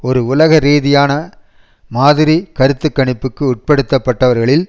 ஒரு உலக ரீதியான மாதிரி கருத்துக்கணிப்புக்கு உட்படுத்தப்பட்டவர்களில்